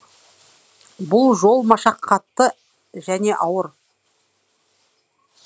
бұл жол машақатты және ауыр